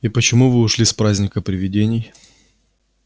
и почему вы ушли с праздника привидений